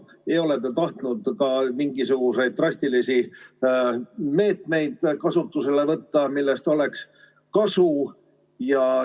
Te ei ole tahtnud ka kasutusele võtta mingisuguseid drastilisi meetmeid, millest oleks kasu.